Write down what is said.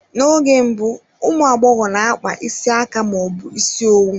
N'oge mbụ, ụmụ agbọghọ n'akpa isi aka ma ọ bụ ịsị owu.